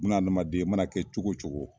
Buna adamaden i mana kɛ cogo cogo